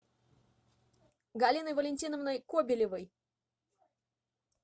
галиной валентиновной кобелевой